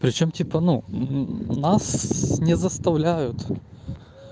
причём типа ну нас не заставляют